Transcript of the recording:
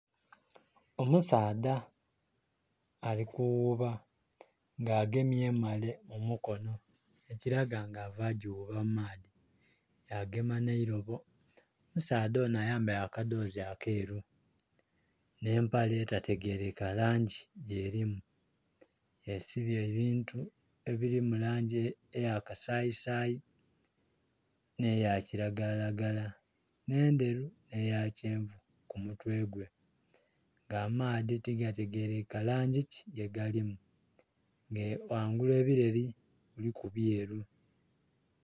Omusaadha ali kughuuba nga agemye emmale mu mukono, ekilaga nga ava gighuuba mu maadhi, yagema n'eirobo. omusaadha onho ayambaire akadhoozi akeeru nh'empale etategerekeka langi gyerimu, yesibye ebintu ebili mu langi eya kasayisayi nh'eya kilagalalagala, endheru nh'eya kyenvu ku mutwe gwe nga amaadhi tigategerekeka langi ki gye galimu nga ghangulu ebileli kuliku byeru.